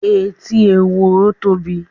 Etí ehoro tóbi.